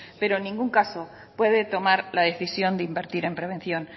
pero en ningún caso puede tomar la decisión de invertir en prevención